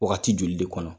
Wagati joli de kɔnɔ